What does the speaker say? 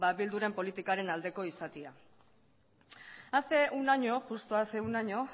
bilduren politikaren aldeko izatea hace un año justo hace un año